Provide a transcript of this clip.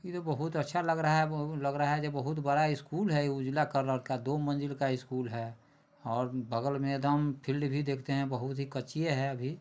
ई तो बहुत अच्छा लग रहा है बहु लग रहा है बहुत बड़ा स्कूल है ई उजला कलर का दो मंजिल का स्कूल है और बगल में एकदम फील्ड भी देखते है बहुत ही कच्चियें है अभी।